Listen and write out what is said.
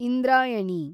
Indrayani